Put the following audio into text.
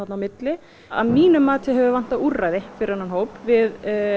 á milli að mínu mati hefur vantað úrræði fyrir þennan hóp við